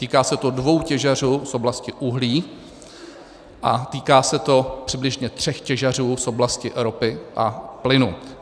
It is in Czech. Týká se to dvou těžařů z oblasti uhlí a týká se to přibližně tří těžařů z oblasti ropy a plynu.